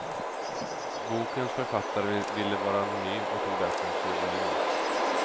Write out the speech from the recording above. Bokens författare ville vara anonym och tog därför en pseudonym.